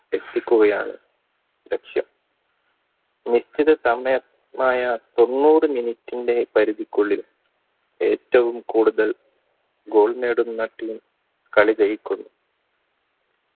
എത്തിക്കുകയാണ് ലക്ഷ്യം നിശ്ചിത സമയം ആയ തൊണ്ണൂറ് minute ടെ പരിധിക്കുള്ളിൽ ഏറ്റവും കൂടുതൽ goal നേടുന്ന team കളി ജയിക്കുന്നു